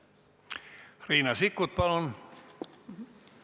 Riina Sikkut, palun!